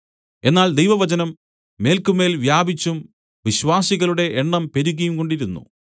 എന്നാൽ ദൈവവചനം മേല്ക്കുമേൽ വ്യാപിച്ചും വിശ്വാസികളുടെ എണ്ണം പെരുകിയും കൊണ്ടിരുന്നു